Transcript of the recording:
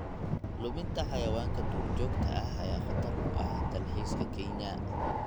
Luminta xayawaanka duurjoogta ah ayaa khatar ku ah dalxiiska Kenya.